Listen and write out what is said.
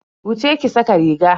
Wuce ki sa ka riga.